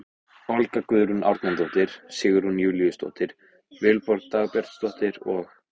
Olga Guðrún Árnadóttir, Sigrún Júlíusdóttir, Vilborg Dagbjartsdóttir og